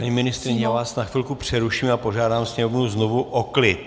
Paní ministryně, já vás na chvilku přeruším a požádám sněmovnu znovu o klid!